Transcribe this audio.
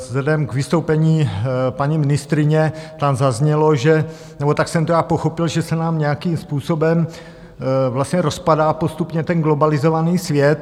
Vzhledem k vystoupení paní ministryně, tam zaznělo, že - nebo tak jsem to já pochopil, že se nám nějakým způsobem vlastně rozpadá postupně ten globalizovaný svět.